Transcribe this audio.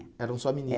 Eram só é